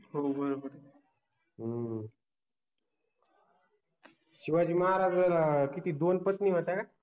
हो बरोबर आहे, हम्म शिवाजि महाराजाना किति दोन पत्नि होत्या का